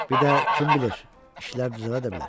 Bir də kim bilir, işlər düzələ də bilər.